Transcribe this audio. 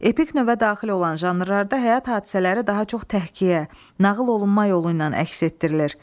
Epik növə daxil olan janrlarda həyat hadisələri daha çox təhkiyə, nağıl olunma yolu ilə əks etdirilir.